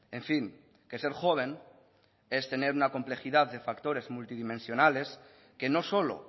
en fin que ser joven es tener una complejidad de factores multidimensionales que no solo